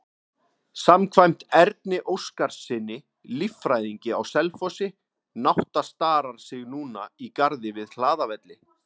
Samkvæmt Erni Óskarssyni, líffræðingi á Selfossi, nátta starar sig núna í garði við Hlaðavelli.